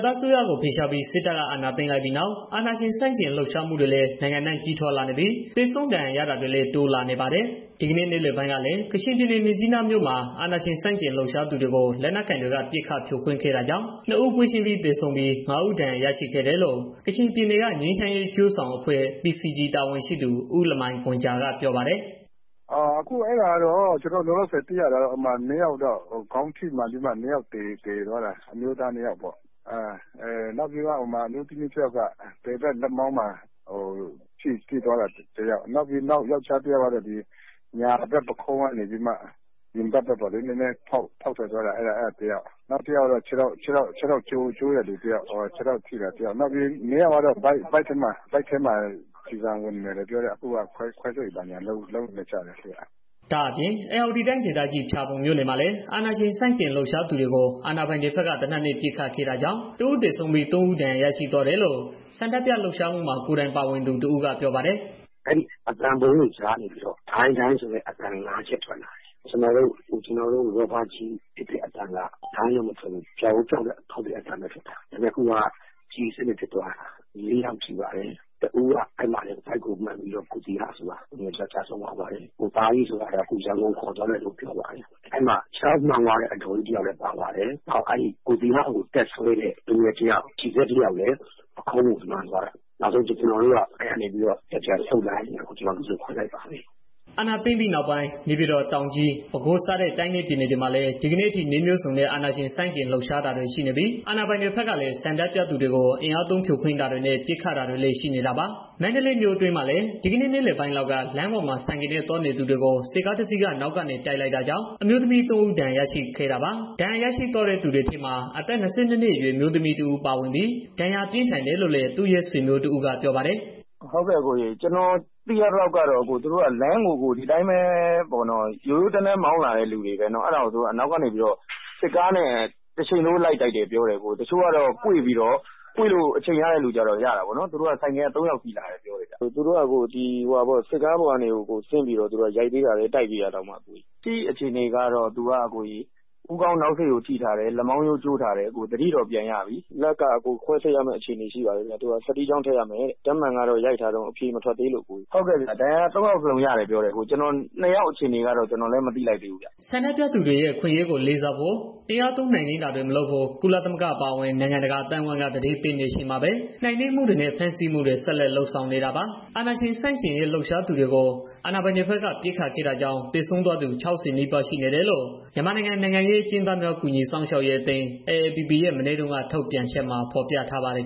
သားအစိုးရကို ဖယ်ရှားပြီး စစ်တပ်က အာဏာသိမ်းလိုက်ပြီးနောက် အာဏာရှင် ဆန့်ကျင်လှုပ်ရှားမှုတွေလည်း နိုင်ငံအနှံ့ကြီးထွားလာနေတာပြီး သေဆုံးဒဏ်ရာရတာတွေလည်း တိုးလာနေပါတယ်။ ဒီကနေ့ နေ့လယ်ပိုင်းကလည်း ကချင်ပြည်နယ်က မြစ်ကြီးနာမြို့မှာ အာဏာရှင်ဆန့်ကျင်လှုပ်ရှားသူတွေကို လက်နက်ကိုင်တွေက ပစ်ခတ်ဖြိုခွင်းခဲ့တာကြောင့် နှစ်ဦး ပွဲချင်းပြီး သေးဆုံးပြီး ငါးဦးဒဏ်ရာ ရရှိခဲ့တယ်လို့ ကချင်ပြည်နယ်က ငြိမ်းချမ်းရေး အကျိုးဆောင် အဖွဲ့ တာဝန်ရှိသူ ဦးလမိုင်ဂွန်ဂျာက ပြောပါတယ်။ “အခုအဲဒါကတော့ ကျနော်တို့ လောလောဆယ် သိရတာကတော့ ခေါင်းထိမှန်ပြီးတော့ နှစ်ယောက် သေသွားတာ... အမျိုးသားနှစ်ယောက်ပေါ့။ နောက်ပြီးတော့ အမျိုးသမီးတစ်ဦးက ဘယ်ဘက် လက်မောင်းမှာ ထိသွားတာ တယောက်။ နောက်ယောကျာ်းတစ်ယောက်ကတော့ ညာဘက် ပက်ခုံးကနေ ရင်ဘတ်ဘက်ကို ဖောက်ထွက်သွားတာ အဲဒါတစ်ယောက်၊ နောက်တစ်ယောက်ကတော့ ခြေထောက်ကျိုးတဲ့ လူုတစ်ယောက်၊ နောက်နှစ်ယောက်ကတော့ ဗိုက်ထဲမှာ ကျည်ဆံဝင်နေတယ်ပြောတယ်။ အခုက ခွဲစိတ်ဘာညာ လုပ်နေတယ်ကြားတယ်။” ဒါအပြင့် ဧရာဝတီတိုင်းဒေသကြီး ဖျားပုံမြို့နယ်မှာလည်း အာဏာရှင်ဆန့်ကျင်လှုပ်ရှားသူတွေကို အာဏာပိုင်တွေဘက်က သေနတ်နဲ့ ပစ်ခတ်ခဲ့တာကြောင့် တစ်ဦးသေဆုံးပြီး သုံး ဦး ဒဏ်ရာရရှိသွားတယ်လို့ ဆန္ဒပြလှုပ်ရှားမှုမှာ ကိုယ်တိုင်ပါဝင်သူတစ်ဦးက ပြောပါတယ်။ “အသံဗုံးတွေကြားထဲကနေပြီးတော့ ဒိုင်း၊ ဒိုင်း ဆိုတဲ့အသံ ငါးချက် ထွက်လာပါတယ်။ ကျနော်တို့ ရာဘာကျည် ပစ်တဲ့ အသံက ဒိုင်းလို့ မထွက်ဘူး။ ဗြောက်အိုးဖောက်တဲ့ အသံပဲ ထွက်တာ။ အခုက ကျည်အစစ်နဲ့ ပစ်သွားတာ။ လေးယောက် ထိပါတယ်။ တစ်ဦးက အဲဒီမှာတင် ဗိုက်ကို မှန်ပြီးတော့ ကိုသီဟ ဆိုတဲ့ တစ်ယောက် ကျဆုံးသွားပါပြီ။ ကိုသားကြီးဆိုတာကို အခု ရန်ကုန်ခေါ်သွားတယ်လို့ ကြားပါတယ်။ အဲဒီမှာ ခြေထောက် မှန်သွားတဲ့ အဒေါ်ကြီးတစ်ယောက်လည်း ပါပါတယ်။ နောက် ကိုသီဟကို တက်ဆွဲတဲ့ လူငယ်တစ်ယောက် G-Z ပက်ခုံးကို မှန်သွားတာ။ နောက်ဆုံး ကျနော်တို့ လူစုခွဲလိုက်ကြပါတယ်။ အာဏာသိမ်းပိုင်းပြီးနောက်ပိုင်း နေပြည်တော်၊ တောင်ကြီး၊ ပဲခူးစတဲ့ တိုင်းနဲ့ ပြည်နယ်တွေ မှာလည်း ဒီကနေ့အထိ နည်းမျိုးစုံနဲ့ အာဏာရှင်ဆန့်ကျင်လှုပ်ရှားတာတွေ ရှိနေပြီး အာဏာပိုင်တွေဘက်ကလည်း ဆန္ဒပြလှုပ်ရှားသူတွေကို အင်အားသုံးဖြိုခွင်းတာတွေနဲ့ ပစ်ခတ်တာတွေလည်း ရှိနေတာပါ။ မန္တလေးမြို့အတွင်းမှာလည်း ဒီကနေ့ နေ့လယ်ပိုင်းလောက်က လမ်းပေါ်မှာ ဆိုင်ကယ်နဲ့ သွားနေသူတွေကို စစ်ကားတစ်စီးက နောက်ကနေ တိုက်လိုက်တာကြောင့် အမျိုးသမီး သုံး ဦး ဒဏ်ရာရရှိခဲ့တာပါ။ ဒဏ်ရာရရှိသွားတဲ့ သူတွေထဲမှာ အသက် ၂၂ အရွယ် အမျိုးသမီးတစ်ဦး ပါဝင်ပြီး ဒဏ်ရာပြင်းထန်တယ်လို့လည်း သူ့ရဲ့ ဆွေမျိုးတစ်ဦးက ပြောပါတယ်။ “ကျနော်သိရသလောက်ကတော့ သူတို့က လမ်းကို... ဒီအတိုင်းပဲ ရိုးရိုးတန်းတန်း မောင်းလာတဲ့ သူတွေပဲပေါ့နော်။ အဲဒါကို သူတို့က နောက်ကနေ စစ်ကားနဲ့ တရှိန်ထိုးလိုက်တိုက်တယ် ပြောတယ်အကို။ တချို့ကတော့ ကွေ့လို့ အချိန်ရတဲ့သူတွေကတော့ ရတာပေါ့နော်။ သူတို့က ဆိုင်ကယ်က သုံးယောက် စီးလာတယ် ပြောတယ်ဗျ။ ပြီးတော့ သူတို့က စစ်ကားပေါ်ကနေ ဆင်းပြီးတော့ ရိုက်သေးတယ်တဲ့ တိုက်ပြီးတာတောင်မှ။ လက်ရှိအခြေ အနေကတော့ သူက ဦးခေါင်းနောက်စိကို ထိထားတယ်။ လက်မောင်ရိုး ကျိုးထားတယ်အကို သတိတော့ ပြန်ရပြီ။ လက်ကတော့ ခွဲစိတ်ရမယ်တဲ့ စတီးချောင်းထည့်ရမယ်။ ဓာတ်မှန်တော့ ရိုက်ထားတယ်... အဖြေမထွက်သေးဘူး။ ဒဏ်ရာ သုံးယောက်စလုံး ရတယ်ပြောတယ်။ ကျန်တဲ့ နှစ်ယောက်အခြေအနေကတော့ ကျနော်လည်း မသိသေးဘူးခင်ဗျ။” ဆန္ဒပြသူတွေရဲ့ အခွင့်အရေးကို လေးစားဖို့ အင်အားသုံးနှိမ်နင်းတာတွေ မလုပ်ဖို့ ကုလသမဂ္ဂ အပါအဝင် နိုင်ငံတကာ အသိုင်းအဝန်းက သတိပေးနေချိန်မှာပဲ နှိမ်နင်းမှုတွေနဲ့ ဖမ်းဆီးမှုတွေ ဆက်လုပ်နေတာပါ။ အာဏာရှင် ဆန့်ကျင်ရေး လှုပ်ရှားသူတွေကို အာဏာပိုင်တွေဘက်က ပစ်ခတ်ခဲ့တာကြောင့် သေဆုံးသွားသူ ၆၀ နီးပါး ရှိနေတယ်လို့ မြန်မာနိုင်ငံ နိုင်ငံရေး အကျဉ်းသားများ ကူညီစောင့်ရေးအသင်း က မနေ့တုန်းက ထုတ်ပြန်ချက်မှာ ဖော်ပြထားပါတယ်